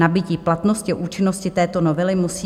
Nabytí platnosti a účinnosti této novely musí...